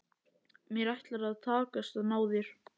Mér ætlar að takast að ná þér.